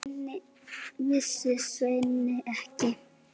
Vissi Svenni ekki?